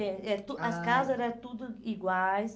É, é, ah, as casa era tudo iguais.